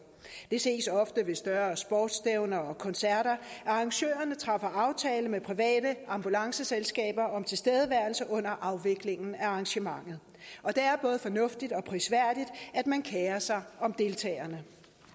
det ses ofte ved større sportsstævner og koncerter at arrangørerne træffer aftale med private ambulanceselskaber om tilstedeværelse under afviklingen af arrangementet og det er både fornuftigt og prisværdigt at man kerer sig om deltagerne